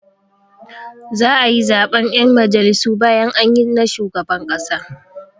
Za'a yi zaɓen 'yan majalisu bayan anyi na shugaban ƙasa.